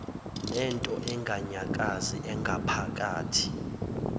nento enganyakazi engaphakathi